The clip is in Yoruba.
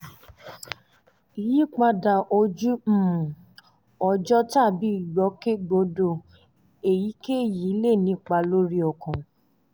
ìyípadà ojú um ọjọ́ tàbí ìgbòkègbodò èyíkéyìí lè nípa lórí ọkàn